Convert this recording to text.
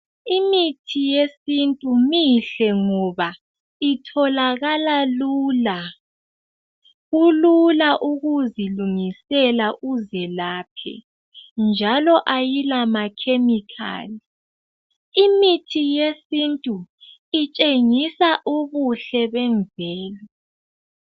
Imithi yesintu mihle ngoba itholakala lula. Kulula ukuzilungisela uzelaphe njalo ayilamakhemikhali. Imithi yesintu itshengisa ubuhle bemvelo.